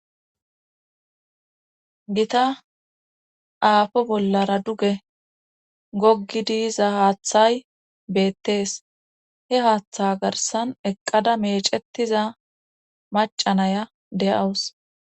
gita aafo bollara duge goggidi yiza haaththay beettees he haaththa garsan eqqada meecetiza macanaya de7awus